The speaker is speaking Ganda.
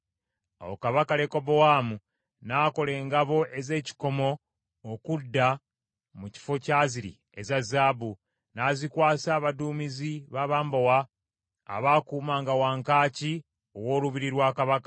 Awo kabaka Lekobowaamu n’akola engabo ez’ekikomo okudda mu kifo kyaziri eza zaabu, n’azikwasa abaduumizi b’abambowa abaakuumanga wankaaki ow’olubiri lwa kabaka.